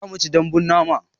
Zamuci daɓbun nama